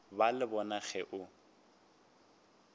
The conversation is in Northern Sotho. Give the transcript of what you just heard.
ba le bona ge o